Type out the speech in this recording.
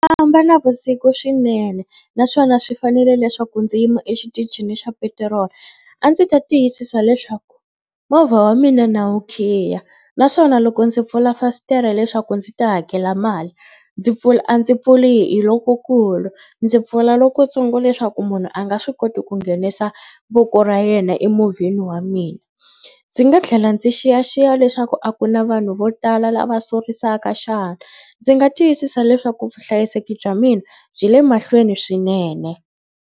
Famba navusiku swinene naswona swi fanele leswaku ndzi yima exitichini xa petiroli a ndzi ta tiyisisa leswaku movha wa mina na wu khiya naswona loko ndzi pfula fasitere leswaku ndzi ta hakela mali ndzi pfula a ndzi pfuli hi lokukulu ndzi pfula lokutsongo leswaku munhu a nga swi koti ku nghenisa voko ra yena emovheni wa mina. Ndzi nga tlhela ndzi xiyaxiya leswaku a ku na vanhu vo tala lava sorisaka xana. Ndzi nga tiyisisa leswaku vuhlayiseki bya mina byi le mahlweni swinene.